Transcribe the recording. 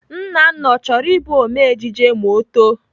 Nnanna, ọ chọrọ Ị bụ ome ejije ma ọ too?